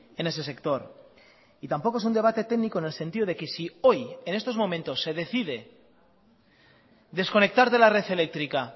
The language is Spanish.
en ese sector y tampoco es un debate técnico en el sentido de que si hoy en estos momentos se decide desconectar de la red eléctrica